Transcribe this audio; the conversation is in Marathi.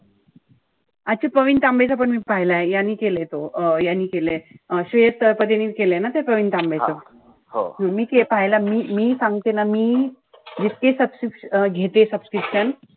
अच्छा प्रवीण तांबेचा पण मी पाहिलाय. यांनी केलंय तो अं यांनी केलंय अं श्रेयस तळपदेनि केलंय ना ते प्रवीण तांबेच. हो मी पाहिलं. मी-मी सांगते ना मी-मी जितके घेते subscription